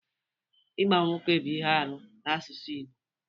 Ịgba nwoke bụ ihe arụ n'asụsụ Igbo